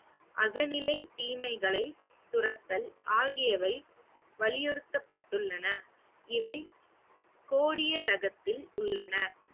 அகநிலை தீமைகளை துரத்தல் ஆகியவை வலியுறுத்தப்பட்டுள்ளன இவை கோடிய ராகத்தில் உள்ளன